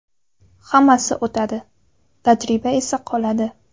Hammasi o‘tadi, tajriba esa qoladi.